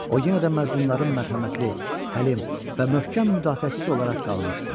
O yenidən məzlumların mərhəmətli, həlim və möhkəm müdafiəçisi olaraq qalmışdı.